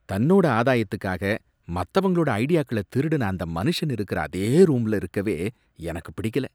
தன்னோட ஆதாயத்துக்காக மத்தவங்களோட ஐடியாக்கள திருடன அந்த மனுஷன் இருக்கிற அதே ரூம்ல இருக்கவே எனக்குப் பிடிக்கல